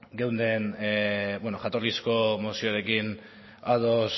beno jatorrizko mozioarekin